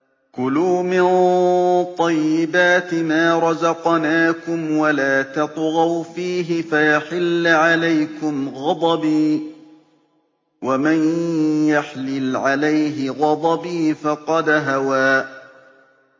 كُلُوا مِن طَيِّبَاتِ مَا رَزَقْنَاكُمْ وَلَا تَطْغَوْا فِيهِ فَيَحِلَّ عَلَيْكُمْ غَضَبِي ۖ وَمَن يَحْلِلْ عَلَيْهِ غَضَبِي فَقَدْ هَوَىٰ